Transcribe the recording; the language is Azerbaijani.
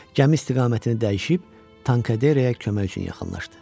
Gəmi istiqamətini dəyişib Tankaderaya kömək üçün yaxınlaşdı.